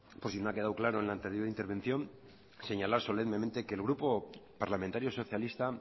por si no ha quedado claro en la anterior intervención señalar solemnemente que el grupo parlamentario socialista